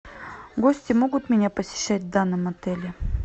гости могут меня посещать в данном отеле